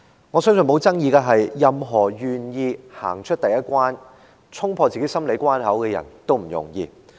我相信沒有爭議的，是任何人願意走出第一步，衝破自己的心理關口都不容易。